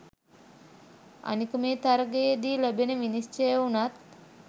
අනික මේ තරගයේදී ලැබෙන විනිශ්චය වුණත්